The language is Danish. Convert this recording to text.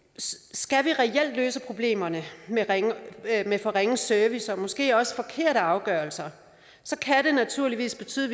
skal vi reelt løse problemerne med med for ringe service og måske også forkerte afgørelser så kan det naturligvis betyde